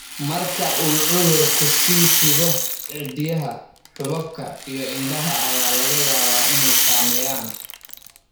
Marka uu cudurku sii fido, ciddiyaha, xuubabka iyo indhaha ayaa laga yaabaa inay saameeyaan.